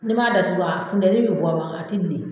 N'i m'a dasugu a funtɛni bi bɔ ma a ti bilen.